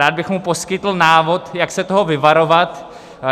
Rád bych mu poskytl návod, jak se toho vyvarovat.